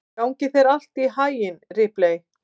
Gangi þér allt í haginn, Ripley.